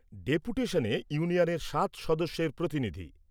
ডেপুটেশনে ইউনিয়নের সাত সদস্যের প্রতিনিধি